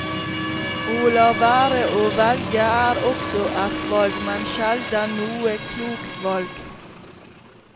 Å la være å velge er også et valg, men sjelden noe klokt valg.